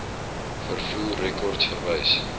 vervoer rekords verwys